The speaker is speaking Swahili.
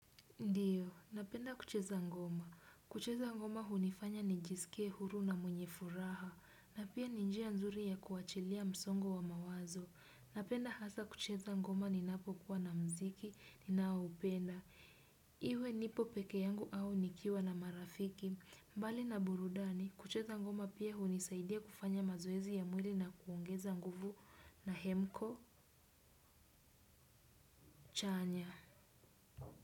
Ndio, napenda kucheza ngoma. Kucheza ngoma hunifanya nijisike huru na mwenye furaha, na pia ni njia nzuri ya kuachilia msongo wa mawazo. Napenda hasa kucheza ngoma ninapokuwa na mziki, ninaoupenda. Iwe nipo peke yangu au nikiwa na marafiki. Mbali na burudani, kucheza ngoma pia hunisaidia kufanya mazoezi ya mwili na kuongeza nguvu na hemko chanya.